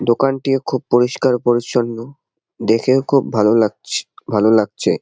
দোকানটিও খুব পরিষ্কার পরিছন্ন দেখেও খুব ভালো লাগছে ভালো লাগছে।